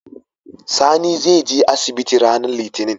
Sani zai je asibiti ranar litinin